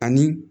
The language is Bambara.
Ani